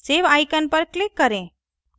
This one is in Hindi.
save icon पर click करें